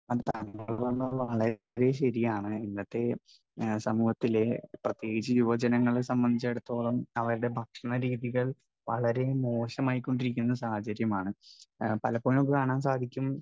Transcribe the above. Speaker 1 താങ്കൾ പറഞ്ഞത് വളരെ ശരിയാണ്. ഇന്നത്തെ സമൂഹത്തിലെ, പ്രത്യകിച്ച് യുവജനങ്ങളെ സംബന്ധിച്ചിടത്തോളം അവരുടെ ഭക്ഷണരീതികൾ വളരെ മോശമായിക്കൊണ്ടിരിക്കുന്ന സാഹചര്യമാണ്. പലപ്പോഴും നമുക്ക് കാണാൻ സാധിക്കും,